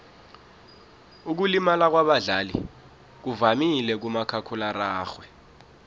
ukulimala kwabadlali kuvamile kumakhakhulararhwe